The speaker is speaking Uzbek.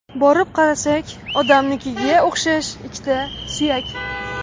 Borib qarasak, odamnikiga o‘xshash ikkita suyak.